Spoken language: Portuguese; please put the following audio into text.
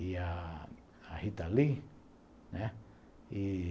e a a Rita Lee, né. E...